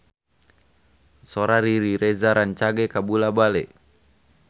Sora Riri Reza rancage kabula-bale